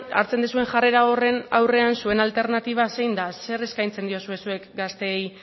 hartzen duzuen jarrera aurrean zuen alternatiba zein da zer eskaintzen diozue zuek gaztei